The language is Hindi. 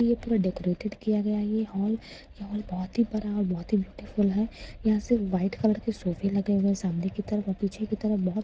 यह पूरा डेकोरेटेड किया गया है यह हॉल यह हॉल बहुत ही बड़ा और बहुत ही ब्यूटीफुल है यहां से वाइट कलर के सोफ़े लगे हुए हैं सामने की तरफ़ और पीछे की तरफ बहुत खू--